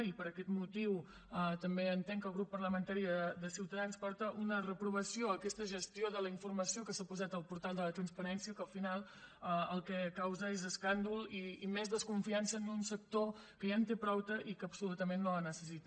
i per aquest motiu també entenc que el grup parlamentari de ciutadans porta una reprovació a aquesta gestió de la informació que s’ha posat al portal de la transparència que al final el que causa és escàndol i més desconfiança en un sector que ja en té prou i que absolutament no la necessita